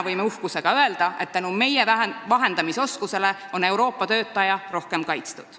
Võime uhkusega öelda, et tänu meie vahendamisoskusele on Euroopa töötaja nüüd rohkem kaitstud.